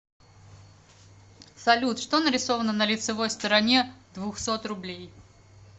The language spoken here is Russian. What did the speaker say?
салют что нарисовано на лицевой стороне двухсот рублей